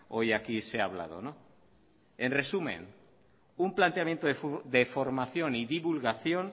hoy aquí se ha hablado en resumen un planteamiento de formación y divulgación